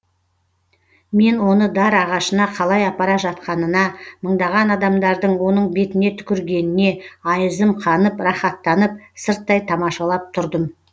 мен оны дар ағашына қалай апара жатқанына мыңдаған адамдардың оның бетіне түкіргеніне айызым қанып рахаттанып сырттай тамашалап тұрдым